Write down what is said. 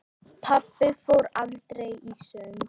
Pabbi fór aldrei í sund.